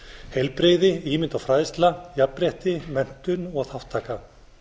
heilbrigði ímynd og fræðsla jafnrétti menntun og þátttaka